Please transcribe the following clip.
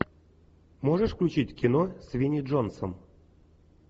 можешь включить кино с винни джонсом